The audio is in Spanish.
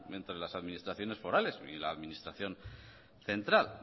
entre las administraciones forales y la administración central